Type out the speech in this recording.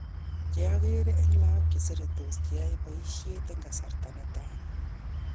Che angeree en lagok cheseretos che nyae paishonik en kasarta ne taa